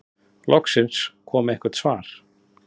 Loksins kom eitthvert svar.